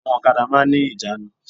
Àwọn òkadà máa n ní ìjánu